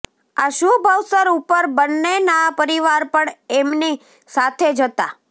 આ શુભ અવસર ઉપર બંનેના પરિવાર પણ એમની સાથે જ હતા